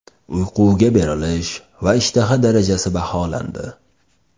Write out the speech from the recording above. Uyquga berilish va ishtaha darajasi baholandi.